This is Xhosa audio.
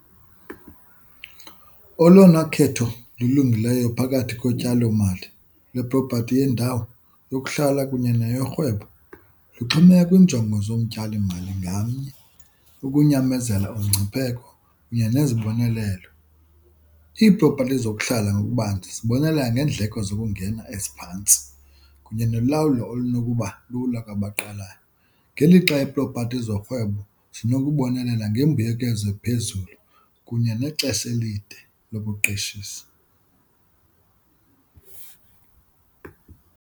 Olona khetho lulungileyo phakathi kotyalomali leprophathi yendawo yokuhlala kunye neyorhwebo, luxhomekeke kwiinjongo zomtyalimali ngamnye, ukunyamezela umngcipheko kunye nezibonelelo. Iipropathi zokuhlala ngokubanzi zibonelela ngeendleko zokungena eziphantsi kunye nolawulo olunokuba lula kwabaqalayo, ngelixa iipropati zorhwebo zinokubonelela ngembuyekezo ephezulu kunye nexesha elide lokuqeshisa.